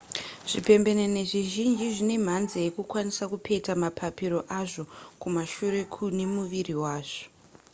zvipembenene zvizhinji zvine mhanza yekukwanisa kupeta mapapiro azvo kumashure kune muviri wazvo